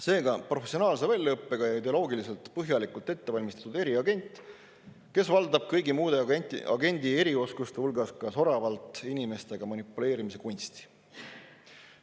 Seega, professionaalse väljaõppega ja ideoloogiliselt põhjalikult ettevalmistatud eriagent, kes valdab kõigi muude agendi erioskuste hulgas soravalt ka inimestega manipuleerimise kunsti.